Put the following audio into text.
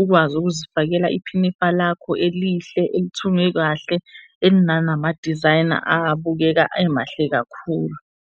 ukwazi ukuzifakela iphinifa lakho elihle, elithungwe kahle, elinanamadizayina abukeka emahle kakhulu.